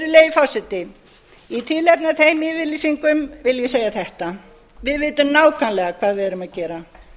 virðulegi forseti í tilefni af þeim yfirlýsingum vil ég segja þetta við vitum nákvæmlega hvað við erum að gera